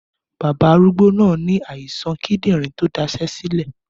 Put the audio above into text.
Bàbá arúgbó náà ní àìsàn kídìrín to dasé sílè